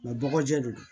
bɔgɔjɛ re don